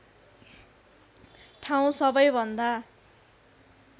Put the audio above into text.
ठाउँ सबैभन्दा